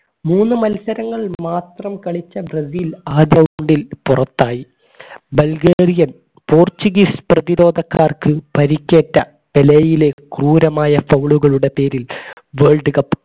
മൂന്നു മത്സരങ്ങൾ മാത്രം കളിച്ച ബ്രസീൽ ആദ്യ പുറത്തായി പോർച്ചുഗീസ് പ്രതിരോധക്കാർക്ക് പരിക്കേറ്റ നിലയിലെ ക്രൂരമായ foul ഉകളുടെ പേരിൽ worldcup